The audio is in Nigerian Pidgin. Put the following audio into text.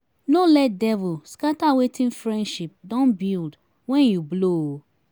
no let devil scatter wetin friendship don build wen you blow o